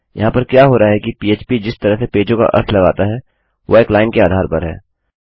यहाँ पर क्या हो रहा है कि पह्प पीएचपीजिस तरह से पेजों का अर्थ लगाता है वह एक लाइन के आधार पर है